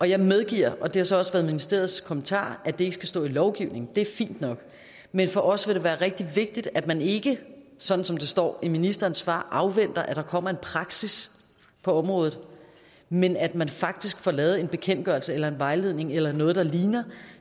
jeg medgiver og det har så også været ministeriets kommentar at det ikke skal stå i lovgivningen det er fint nok men for os vil det være rigtig vigtigt at man ikke sådan som det står i ministerens svar afventer at der kommer en praksis på området men at man faktisk får lavet en bekendtgørelse eller en vejledning eller noget der ligner